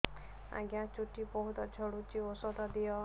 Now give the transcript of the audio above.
ଆଜ୍ଞା ଚୁଟି ବହୁତ୍ ଝଡୁଚି ଔଷଧ ଦିଅ